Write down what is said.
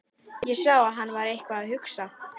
Ég sá að hann var eitthvað að hugsa.